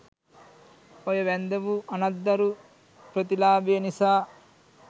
ඔය 'වැන්දඹු අනත්දරු ප්‍රතිලාභය' නිසා